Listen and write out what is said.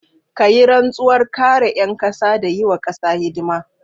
Ka yi rantsuwar kare 'yan kasa da yi wa kasa hidima.